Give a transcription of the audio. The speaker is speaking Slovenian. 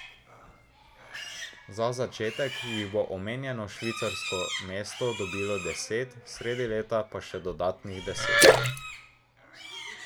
Za začetek jih bo omenjeno švicarsko mesto dobilo deset, sredi leta pa še dodatnih deset.